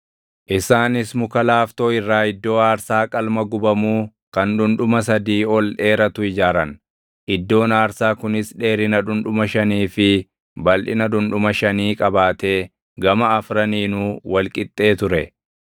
Isaanis muka laaftoo irraa iddoo aarsaa qalma gubamuu kan dhundhuma sadii ol dheeratu ijaaran; iddoon aarsaa kunis dheerina dhundhuma shanii fi balʼina dhundhuma shanii qabaatee gama afraniinuu wal qixxee ture.